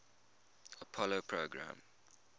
apollo program